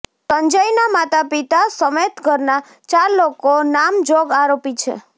સંજયનાં માતાપિતા સમેત ઘરનાં ચાર લોકો નામજોગ આરોપી છે